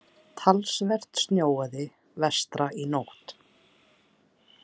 Talsvert snjóaði vestra í nótt.